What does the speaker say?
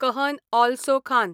कहन ऑलसो खान